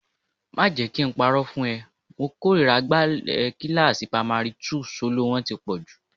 Má jẹ kí n parọ́ fún ẹ, mo kórìíra agbálẹ̀ kíláàsì pamari túù, soló wọn ti pọ̀jù